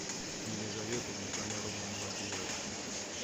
елизавета никоноровна молодеева